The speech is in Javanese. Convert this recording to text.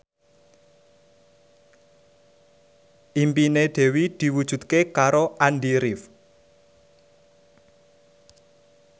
impine Dewi diwujudke karo Andy rif